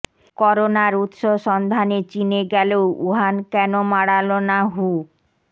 করোনার উৎস সন্ধানে চিনে গেলেও উহান কেন মাড়ালো না হু